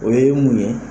O ye mun ye